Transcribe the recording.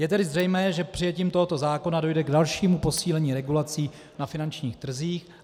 Je tedy zřejmé, že přijetím tohoto zákona dojde k dalšímu posílení regulací na finančních trzích.